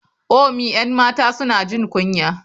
ome 'yan mata suna jin kunya.